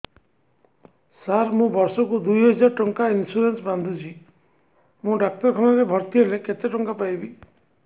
ସାର ମୁ ବର୍ଷ କୁ ଦୁଇ ହଜାର ଟଙ୍କା ଇନ୍ସୁରେନ୍ସ ବାନ୍ଧୁଛି ମୁ ଡାକ୍ତରଖାନା ରେ ଭର୍ତ୍ତିହେଲେ କେତେଟଙ୍କା ପାଇବି